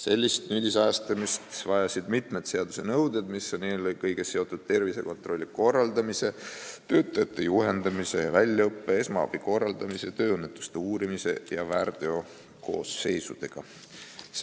Sellist nüüdisajastamist vajasid mitmed seaduse nõuded, mis on eelkõige seotud tervisekontrolli korraldamise, töötajate juhendamise ja väljaõppe, esmaabi korraldamise, tööõnnetuste uurimise ja väärteokoosseisudega.